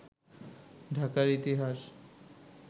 ঢাকার ইতিহাস